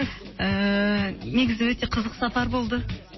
ііі негізі өте қызық сапар болды